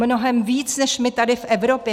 Mnohem víc než my tady v Evropě.